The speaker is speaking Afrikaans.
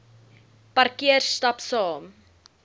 parkeer stap saam